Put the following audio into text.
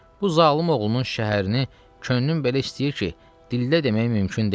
Bu zalım oğlunun şəhərini könlüm belə istəyir ki, dildə demək mümkün deyil.